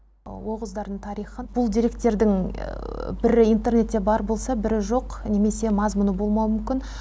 оғыздардың тарихы бұл деректердің бірі интернетте бар болса бірі жоқ немесе мазмұны болмауы мүмкін